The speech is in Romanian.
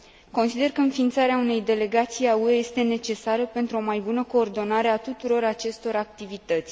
Consider că înființarea unei delegații a UE este necesară pentru o mai bună coordonare a tuturor acestor activități.